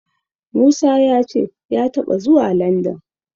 Musa ya ce ya taɓa zuwa Landan.